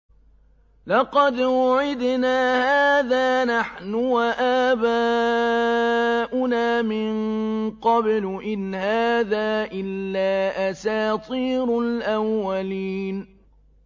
لَقَدْ وُعِدْنَا هَٰذَا نَحْنُ وَآبَاؤُنَا مِن قَبْلُ إِنْ هَٰذَا إِلَّا أَسَاطِيرُ الْأَوَّلِينَ